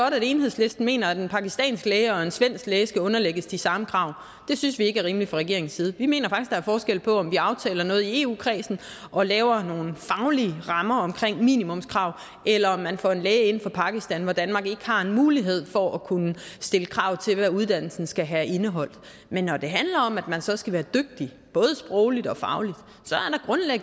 at enhedslisten mener at en pakistansk læge og en svensk læge skal underlægges de samme krav det synes vi ikke er rimeligt fra regeringens side vi mener faktisk at der er forskel på om vi aftaler noget i eu kredsen og laver nogle faglige rammer om minimumskrav eller om man får en læge ind fra pakistan hvor danmark ikke har en mulighed for at kunne stille krav til hvad uddannelsen skal have indeholdt men når det handler om at man så skal være dygtig både sprogligt og fagligt